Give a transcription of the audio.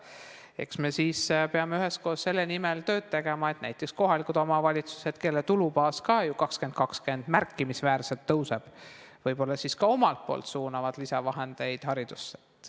Eks me siis peame üheskoos selle nimel tööd tegema, et näiteks kohalikud omavalitsused, kelle tulubaas ka ju 2020 märkimisväärselt suureneb, võib-olla ka omalt poolt suunaksid lisavahendeid haridusse.